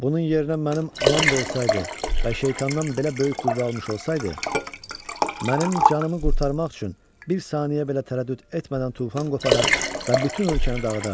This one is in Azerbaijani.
Bunun yerinə mənim anam da olsaydı və şeytandan belə böyük qüvvə almış olsaydı, mənim canımı qurtarmaq üçün bir saniyə belə tərəddüd etmədən tufan qoparar və bütün ölkəni dağıdardı.